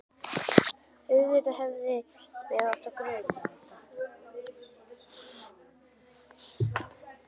Auðvitað hefði mig átt að gruna þetta.